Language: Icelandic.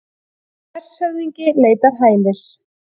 Hershöfðingi leitar hælis